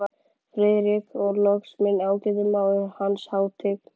FRIÐRIK: Og loks minn ágæti mágur, Hans Hátign